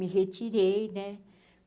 Me retirei, né?